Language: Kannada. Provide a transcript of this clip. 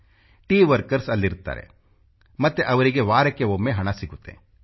ಟೀ ವರ್ಕರ್ಸ್ ಅಲ್ಲಿ ಇರುತ್ತಾರೆ ಮತ್ತು ಅವರಿಗೆ ವಾರಕ್ಕೆ ಒಮ್ಮೆ ಹಣ ಸಿಗತ್ತೆ